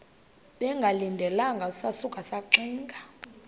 bengalindelanga sasuka saxinga